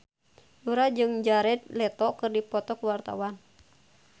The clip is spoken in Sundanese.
Yura jeung Jared Leto keur dipoto ku wartawan